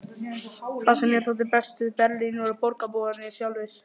Það sem mér þótti best við Berlín voru borgarbúar sjálfir.